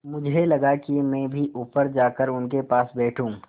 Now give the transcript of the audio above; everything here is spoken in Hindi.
मुझे लगा कि मैं भी ऊपर जाकर उनके पास बैठूँ